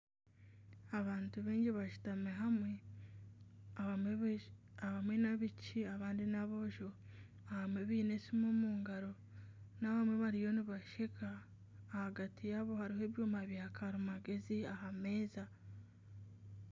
Abantu baingi bashutami hamwe abamwe n'abaishiki abandi n'aboojo abamwe baine esimu omungaro n'abamwe bariyo nibasheka ahagati yaabo harimu ebyoma bya karimagyezi aha meeza.